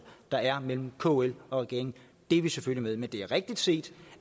der er mellem kl og regeringen det er vi selvfølgelig med det er rigtigt set